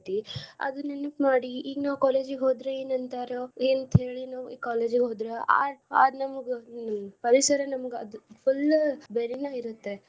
ಅದ್ ನೆನಪ್ ಮಾಡಿ ಈಗ ನಾವ್ college ಹೋದ್ರೆ ಏನ್ ಅಂತಾರ ಏನ್ ತಿಳಿ ನಾವ್ college ಹೋದ್ರ ಅದ್ ನಮ್ಗ ವಯಸ್ಸಾರ ನಮ್ಗ ಅದು full ಬೇರೆನೆ ಇರುತ್ತೇ.